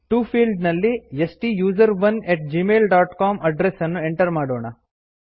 to field ನಲ್ಲಿ ಸ್ಟುಸೆರೋನ್ at Gmail dot com address ಅನ್ನು ಎಂಟರ್ ಮಾಡೋಣ